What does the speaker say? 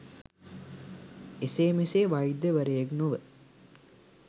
එසේ මෙසේ වෛද්‍යවරයෙක් නොව